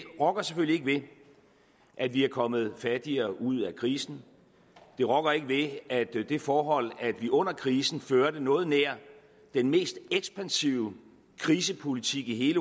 rokker selvfølgelig ikke ved at vi er kommet fattigere ud af krisen det rokker ikke ved at det forhold at vi under krisen førte noget nær den mest ekspansive krisepolitik i